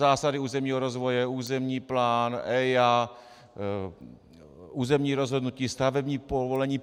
Zásady územního rozvoje, územní plán, EIA, územní rozhodnutí, stavební povolení.